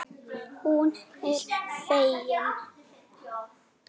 Hún er fegin.